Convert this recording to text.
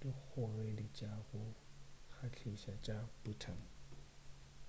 dikgogedi tša go kgahliša tša bhutan